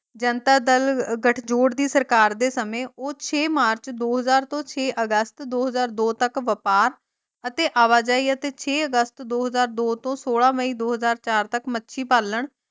ਜਨਤਾ ਦਲ ਗਠਜੋੜ ਦੀ ਸਰਕਾਰ ਦੇ ਸਮੇਂ ਉਹ ਛੇ ਮਾਰਚ ਦੋ ਹਾਜ਼ਰ ਤੋਂ ਛੇਹ ਅਗੱਸਤ ਦੋ ਹਾਜ਼ਰ ਦੋ ਤਕ ਵਪਾਰ ਅਤੇ ਆਵਾਜਾਈ ਅਤੇ ਛੇ ਅਗੱਸਤ ਦੋ ਹਜ਼ਾਰ ਦੋ ਤੋਂ ਸੋਲਾਂ ਮਈ ਦੋ ਹਜ਼ਾਰ ਚਾਰ ਤਕ ਮੱਛੀ ਪਾਲਣ।